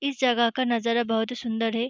इस जगह का नजारा बहुत ही सुन्दर है।